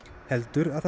heldur